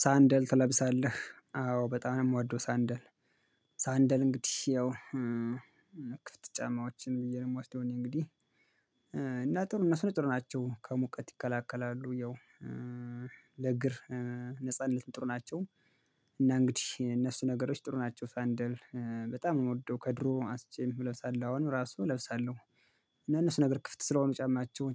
ሳንደል ትለብሳለህ አዎ በጣም ነው የምወደው ሳንደል። ሳንደል እንግዲህ ያው ክፍት ጫማዎችን ብየ ነው እምወስደው እኔ እንግዲህ እና ጥሩ እነሱ ጥሩ ናቸው ከሙቀት ይከላከላሉ ያው ለእግር ነጻነት ጥሩ ናቸው። እና እንግዲህ እነሱ ነገሮች ጥሩ ናቸው ሳንደል በጣም እምወደው ከድሮ አንስቼ እለብሳለሁ አሁን ራሱ እለብሳለሁ። እና እነሱ ነገር ክፍት ስለሆኑ